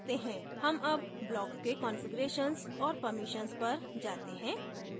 हम अब blocks के configurations और permissions पर जाते हैं